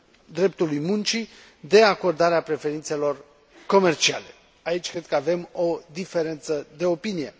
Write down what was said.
dreptului muncii, de acordarea preferințelor comerciale. Aici cred că avem o diferență de opinie.